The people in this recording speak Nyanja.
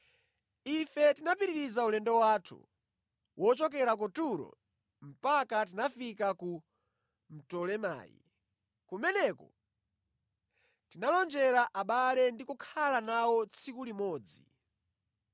Ife tinapitiriza ulendo wathu wochokera ku Turo mpaka tinafika ku Ptolemayi. Kumeneko tinalonjera abale ndi kukhala nawo tsiku limodzi.